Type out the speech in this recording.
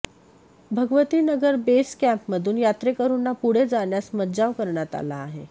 Bhagwati Nagar base कँपमधून यात्रेकरूंना पुढे जाण्यास मज्जाव करण्यात आला आहे